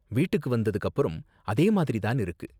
வீட்டுக்கு வந்ததுக்கு அப்பறமும் அதே மாதிரி தான் இருக்கு.